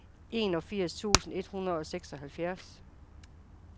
enogfirs tusind et hundrede og seksoghalvfjerds